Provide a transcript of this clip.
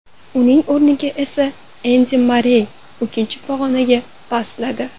Uning o‘rniga esa Endi Marrey uchinchi pog‘onaga pastladi.